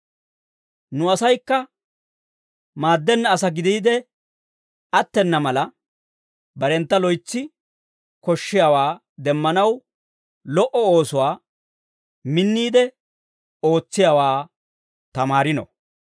Nu asaykka maaddenna asaa gidiide attena mala, barentta loytsi koshshiyaawaa demmanaw, lo"o oosuwaa minniide ootsiyaawaa tamaarino.